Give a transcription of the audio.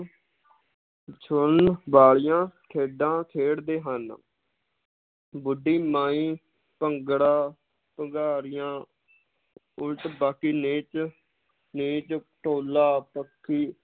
ਛੂੰਹਣ ਵਾਲੀਆਂ ਖੇਡਾਂ ਖੇਡਦੇ ਹਨ ਬੁੱਢੀ ਮਾਈ, ਭੰਗੜਾ, ਭੁਗਾਰੀਆਂ ਉਲਟ ਬਾਕੀ ਨੀਚ, ਨੀਚ ਢੋਲਾ, ਪੱਖੀ